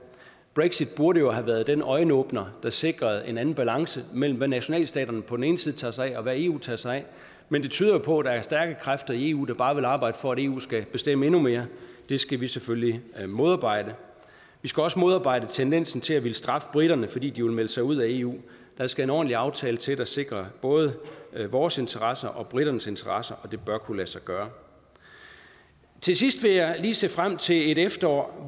brexit burde jo have været den øjenåbner der sikrede en anden balance imellem hvad nationalstaterne på den ene side tager sig af og hvad eu tager sig af men det tyder på at der er stærke kræfter i eu der bare vil arbejde for at eu skal bestemme endnu mere det skal vi selvfølgelig modarbejde vi skal også modarbejde tendensen til at ville straffe briterne fordi de vil melde sig ud af eu der skal en ordentlig aftale til der sikrer både vores interesser og briternes interesser og det bør kunne lade sig gøre til sidst vil jeg se frem til et efterår